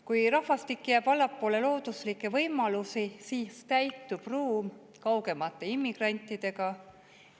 Kui rahvastik jääb allapoole looduslikke võimalusi, siis täitub ruum kaugemalt immigrantidega.